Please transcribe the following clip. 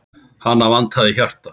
Hana vantaði hjarta.